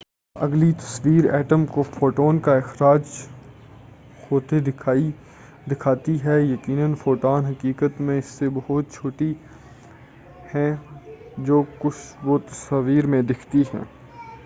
اگلی تصویر ایٹم کو فوٹون کا اخراج کرتے ہوئے دکھاتی ہے یقینا فوٹون حقیقت میں ان سے بہت چھوٹی ہیں جو وہ تصویر میں دکھتی ہیں